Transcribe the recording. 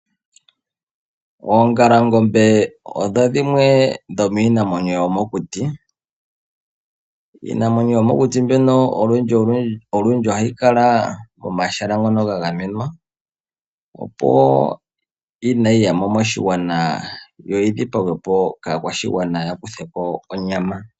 Oongalangombe odho dhimwe dhomiinamwenyo yomokuti. Iinamwenyo yomokuti mbyoka ohayi kala pomahala gagamwenwa opo kaayi dhipagwe kaakwashigwana yo yakutheko onyama.